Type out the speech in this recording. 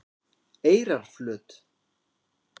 Eyrarflöt